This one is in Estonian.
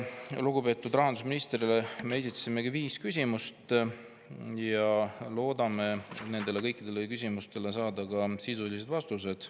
Lugupeetud rahandusministrile me esitasime viis küsimust ja loodame nendele kõikidele saada sisulised vastused.